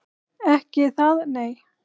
Ekki það nei.